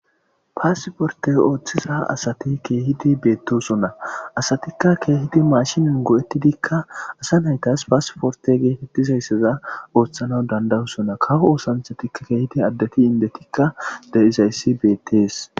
paasiporte ooththiza asati keehidi beettosona asatikka keehidi maashinin go7ettidikka asa naytas paasiporte geetettizaysseza ooththana dandayusona kao oosanthatikka keehidi addati indetikka de7izayssi beettees